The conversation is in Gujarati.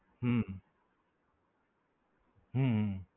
હમ હમ